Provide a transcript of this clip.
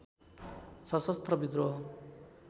सशस्त्र विद्रोह